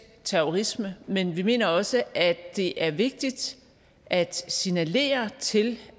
terrorisme men vi mener også at det er vigtigt at signalere til